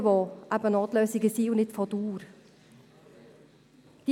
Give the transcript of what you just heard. Notlösungen sind Notlösungen und nicht auf Dauer ausgelegt.